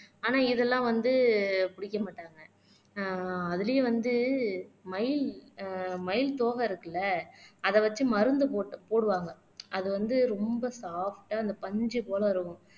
ஆனா இதெல்லாம் வந்து பிடிக்க மாட்டாங்க ஆஹ் அதிலேயும் வந்து மயில் ஆஹ் மயில் தோகை இருக்குல்ல அதை வச்சு மருந்து போட்டு போடுவாங்க அது வந்து ரொம்ப சாப்ட்டா அந்த பஞ்சு போல இருக்கும்